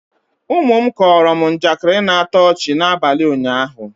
ụmụ m kọọrọ m njakịri na-atọ ọchị n'abalị ụnyahụ